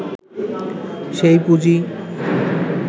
সেই পুঁজি